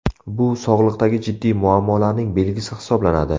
Bu sog‘liqdagi jiddiy muammolarning belgisi hisoblanadi.